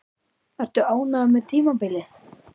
Ertu ánægður með tímabilið?